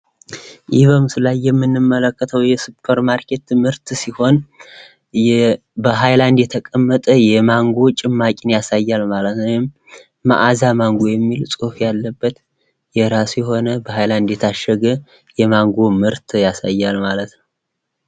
ይህ በምስሉ ላይ የምንመለከተው የሱፐርማርኬት ምርት ሲሆን ፤ በሃይላንድ የተቀመጠ የማንጎ ጭማቂ ያሳያል ማለት ነው ፤ ወይም መዓዛ ማንጎ የሚል ጽሁፍ ያለበት የራሱ የሆነ የታሸገ የማንጎ ምርት ያሳያል ማለት ነው።